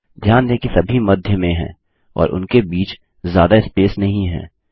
ध्यान दें कि सभी मध्य में हैं और उनके बीच ज्यादा स्पेस नहीं है